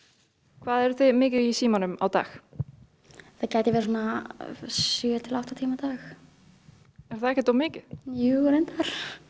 hvað eruð þið mikið í símanum á dag það gæti verið svona sjö til átta tíma á dag er það ekkert of mikið jú reyndar